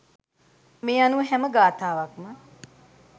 මේ අනුව හැම ගාථාවක්ම